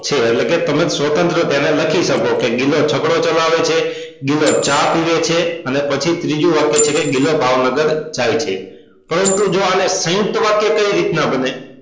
છો એટલે કે તમે સ્વતંત્ર તેને લખી શકો કે ગિલો છકડો ચલાવે છે ગિલો ચા પીવે છે અને પછી ત્રીજું વાક્ય કે ગિલો ભાવનગર જાય છે પરંતુ જો આને સયુંકત વાક્ય કેવિ રીતે બને